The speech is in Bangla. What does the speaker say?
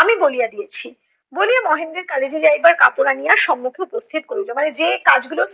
আমি বলিয়া দিয়েছি। বলিয়া মহেন্দ্রের college এ যাইবার কাপড় আনিয়া সম্মুখে উপস্থিত করিলো। মানে যে কাজগুলো